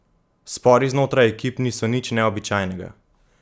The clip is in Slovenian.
Spori znotraj ekip niso nič neobičajnega.